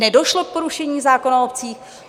Nedošlo k porušení zákona o obcích?